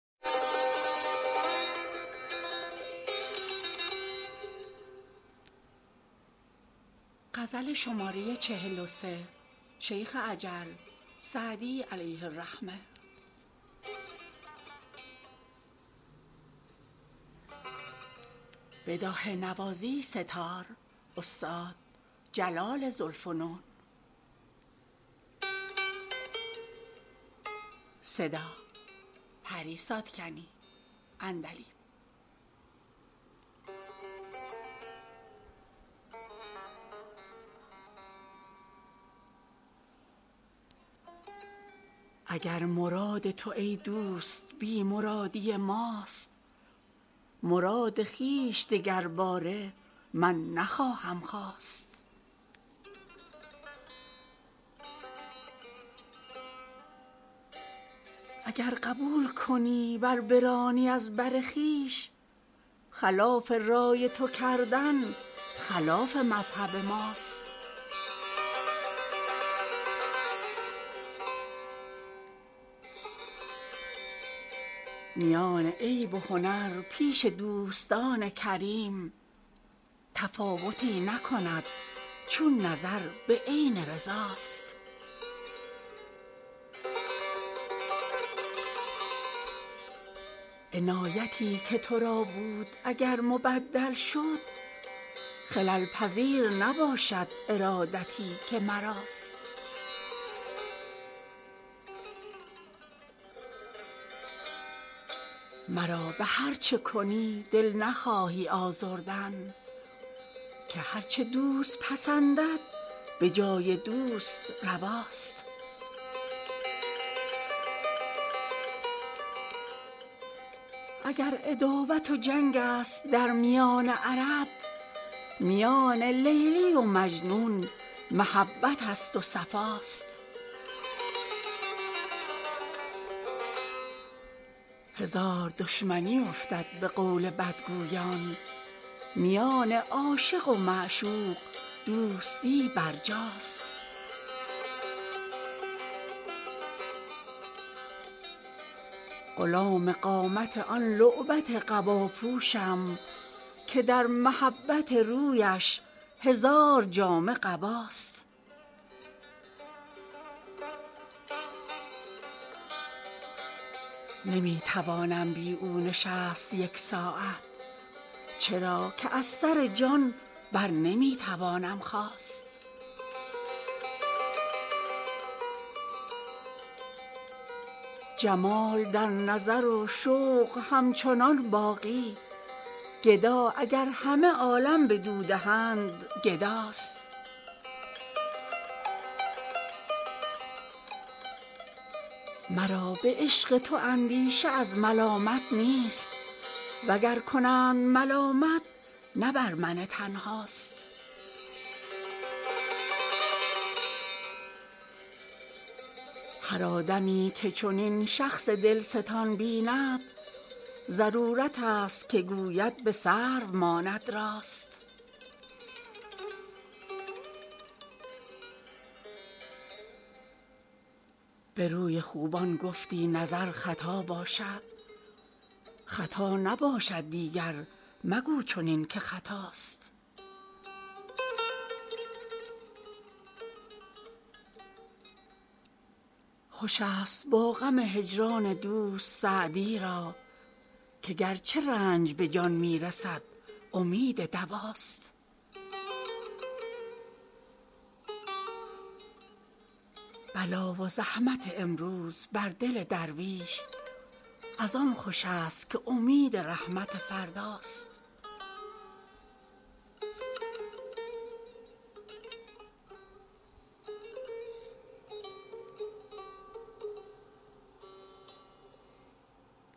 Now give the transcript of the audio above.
اگر مراد تو ای دوست بی مرادی ماست مراد خویش دگرباره من نخواهم خواست اگر قبول کنی ور برانی از بر خویش خلاف رای تو کردن خلاف مذهب ماست میان عیب و هنر پیش دوستان کریم تفاوتی نکند چون نظر به عین رضا ست عنایتی که تو را بود اگر مبدل شد خلل پذیر نباشد ارادتی که مراست مرا به هر چه کنی دل نخواهی آزردن که هر چه دوست پسندد به جای دوست روا ست اگر عداوت و جنگ است در میان عرب میان لیلی و مجنون محبت است و صفا ست هزار دشمنی افتد به قول بدگویان میان عاشق و معشوق دوستی برجاست غلام قامت آن لعبت قبا پوشم که در محبت رویش هزار جامه قباست نمی توانم بی او نشست یک ساعت چرا که از سر جان بر نمی توانم خاست جمال در نظر و شوق همچنان باقی گدا اگر همه عالم بدو دهند گدا ست مرا به عشق تو اندیشه از ملامت نیست و گر کنند ملامت نه بر من تنها ست هر آدمی که چنین شخص دل ستان بیند ضرورت است که گوید به سرو ماند راست به روی خوبان گفتی نظر خطا باشد خطا نباشد دیگر مگو چنین که خطاست خوش است با غم هجران دوست سعدی را که گرچه رنج به جان می رسد امید دوا ست بلا و زحمت امروز بر دل درویش از آن خوش است که امید رحمت فردا ست